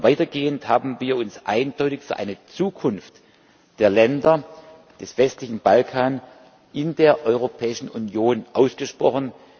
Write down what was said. Weitergehend haben wir uns eindeutig für eine Zukunft der Länder des westlichen Balkans in der Europäischen Union ausgesprochen.